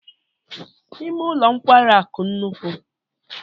Ime ụlọ nkwari akụ nnukwu?